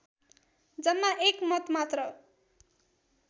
जम्मा एक मत मात्र